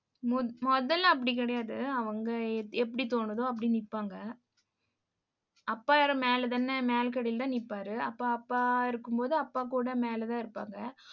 மு~ முதல்லே அப்படி கிடையாது அவங்க எப்படி தோணுதோ அப்படி நிப்பாங்க அப்பா இரு~ மேல தானே மேல் கடைல தான் நிப்பாரு. அப்ப அப்பா இருக்கும்போது அப்பா கூட மேல தான் இருப்பாங்க